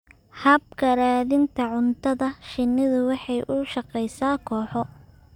Habka raadinta cuntada, shinnidu waxay u shaqeysaa kooxo.